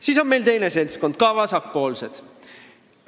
Siis on siin teine seltskond, ka vasakpoolsed.